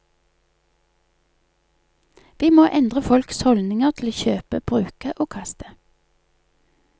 Vi må endre folks holdninger til å kjøpe, bruke og kaste.